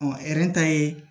ta ye